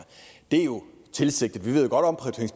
det er jo tilsigtet vi